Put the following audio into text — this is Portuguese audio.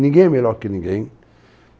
é melhor que ninguém.